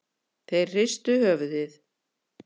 Þeir hristu höfuðið.